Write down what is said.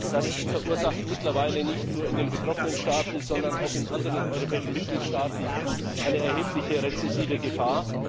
Das verursacht mittlerweile nicht nur in den betroffenen Staaten, sondern auch in anderen europäischen Mitgliedstaaten eine erhebliche rezessive Gefahr.